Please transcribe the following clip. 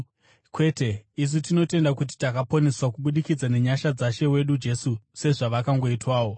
Kwete! Isu tinotenda kuti takaponeswa kubudikidza nenyasha dzaShe wedu Jesu sezvavakangoitwawo.”